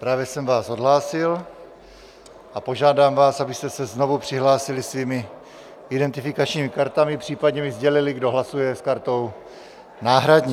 Právě jsem vás odhlásil a požádám vás, abyste se znovu přihlásili svými identifikačními kartami, případně mi sdělili, kdo hlasuje s kartou náhradní.